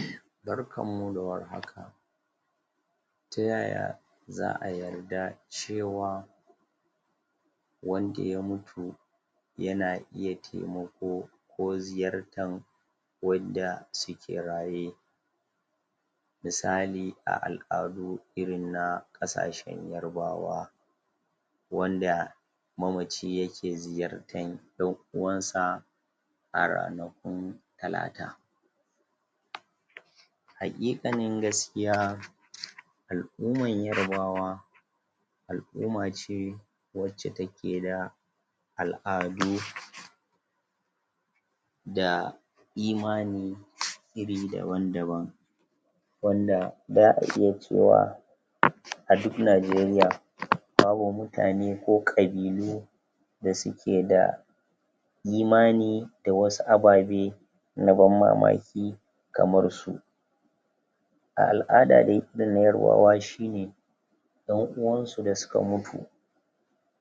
ehem barkanmu da warhaka ta yaya za'a yarda cewa wanda ya mutu yana iya taimako ko ziyartan wadda suke raye misali a al'adu irin na ƙasashen yarbawa wanda mamaci yake ziyartan 'yan uwansa a ranakun talata haƙiƙanin gaskiya al'uman yarbawa al'uma ce wacca take da al'adu da imani iri daban daban wanda za'a iya cewa.... a duk Najeriaa? kawo mutane ko ƙabilu da suke da imani da wasu ababe na banmamaki kamar su a al'ada dai irin na yarbawa shine 'yan uwansu da suka mutu